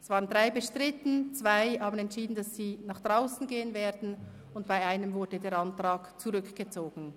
Es waren drei bestritten, zwei haben entschieden, dass sie nach draussen gehen werden, und bei einem wurde der Antrag zurückgezogen.